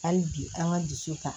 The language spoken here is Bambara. Hali bi an ka dusu ta